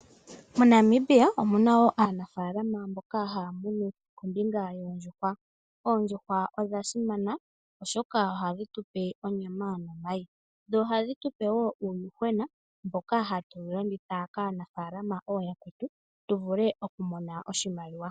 MoNamibia omu na wo aanafaalama mboka haya munu kombinga yoondjuhwa. Oondjuhwa odha simana, oshoka oha dhi tu pe onyama nomayi, dho oha dhi tu pe wo uuyuhwena mboka hatu wu landitha kaanafaalama ooyakwetu, tu vule oku mona oshimaliwa.